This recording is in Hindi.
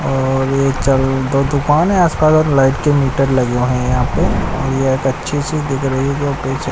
और यह चल दो दुकान हैं आसपास और लाइट के मीटर लगे हुए हैं यहां पे और ये एक अच्छी सी दिख रही है जो पीछे--